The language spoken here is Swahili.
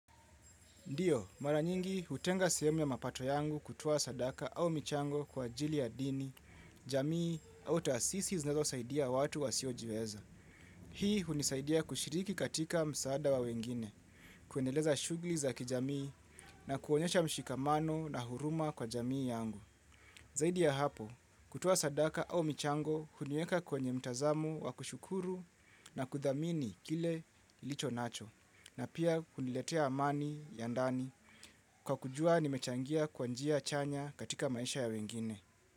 Ndio, mara nyingi hutenga sehemu ya mapato yangu kutoa sadaka au michango kwa ajili ya dini, jamii, au taasisi zinezo saidia watu wasio jiweza. Hii hunisaidia kushiriki katika msaada wa wengine, kuendeleza shughuli za kijamii na kuonyesha mshikamano na huruma kwa jamii yangu. Zaidi ya hapo, kutuoa sadaka au michango huniweka kwenye mtazamo wa kushukuru na kuthamini kile ilicho nacho, na pia kuniletea amani ya ndani kwa kujua ni mechangia kwa njia chanya katika maisha ya wengine.